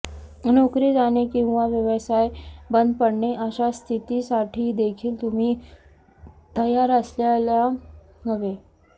नोकरी जाणे किंवा व्यवसाय बंद पडणे अशा स्थितीसाठी देखील तुम्ही तयार असायला हवे